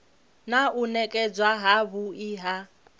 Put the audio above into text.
na u nekedzwa havhui ha